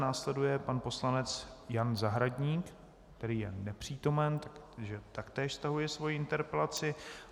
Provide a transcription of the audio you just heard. Následuje pan poslanec Jan Zahradník, který je nepřítomen, takže taktéž stahuje svoji interpelaci.